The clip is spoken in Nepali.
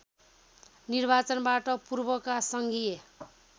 निर्वाचनबाट पूर्वका सङ्घीय